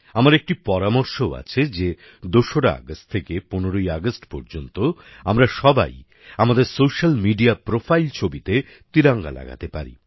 আমার একটি পরামর্শও আছে যে ২রা আগস্ট থেকে ১৫ই আগস্ট পর্যন্ত আমরা সবাই আমাদের সোশ্যাল মিডিয়া প্রোফাইল ছবিতে তিরঙ্গা লাগাতে পারি